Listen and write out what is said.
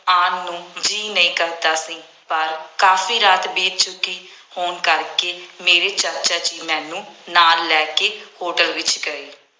ਆਉਣ ਨੂੰ ਜੀਅ ਨਹੀਂ ਕਰਦਾ ਸੀ। ਪਰ ਕਾਫੀ ਰਾਤ ਬੀਤ ਚੁੱਕੀ ਹੋਣ ਕਰਕੇ ਮੇਰੇ ਚਾਚਾ ਜੀ ਮੈਨੂੰ ਨਾਲ ਲੈ ਕੇ ਹੋਟਲ ਵਿੱਚ ਗਏ।